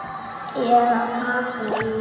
Eða taka í vörina.